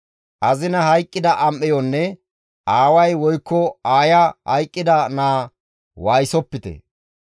Azinay hayqqida am7eyonne aaway woykko aaya hayqqida naa waayisopite.